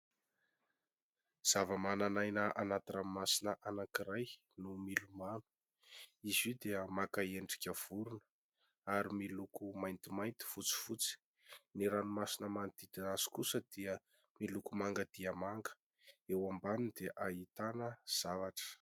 Zava-manan'aina anaty ranomasina anankiray no milomano. Izy io dia maka endrika vorona ary miloko maintimainty, fotsifotsy. Ny ranomasina manodidina azy kosa dia miloko manga dia manga ; eo ambaniny dia ahitana zavatra.